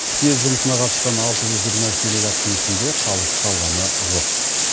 съез жұмысына қатысқан алты жүз жиырма үш делегаттың ішінде қалыс қалғаны жоқ